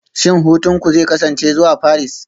Shin hutunku zai kasance zuwa Paris?